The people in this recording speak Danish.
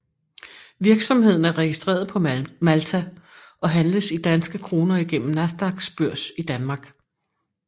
Virksomheden er registreret på Malta og handles i danske kroner igennem Nasdaqs børs i Danmark